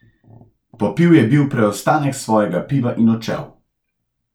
Popil je bil preostanek svojega piva in odšel.